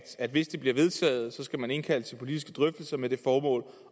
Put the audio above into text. at hvis det bliver vedtaget skal man indkalde til politiske drøftelser med det formål